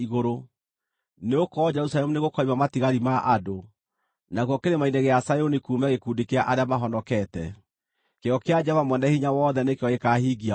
Nĩgũkorwo Jerusalemu nĩgũkoima matigari ma andũ, nakuo Kĩrĩma-inĩ gĩa Zayuni kuume gĩkundi kĩa arĩa mahonokete. Kĩyo kĩa Jehova Mwene-Hinya-Wothe nĩkĩo gĩkaahingia ũguo.